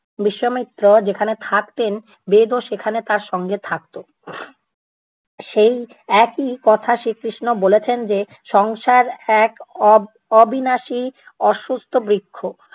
বিশ্বমিত্র যেখানে থাকতেন বেদও সেখানে তার সঙ্গে থাকতো। সেই একই কথা শ্রীকৃষ্ণ বলেছেন যে, সংসার এক অব~ অবিনাশী অসুস্থ বৃক্ষ।